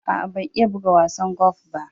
Aa, ban iya bugan wasan Gofi ba.